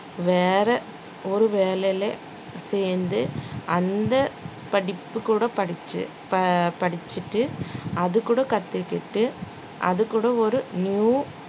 வேற ஒரு வேலையில சேர்ந்து அந்த படிப்பு கூட படிச்சு~ படிச்சிட்டு அதுகூட கத்துக்கிட்டு அதுகூட ஒரு new